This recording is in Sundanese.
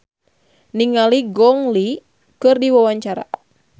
Yayan Ruhlan olohok ningali Gong Li keur diwawancara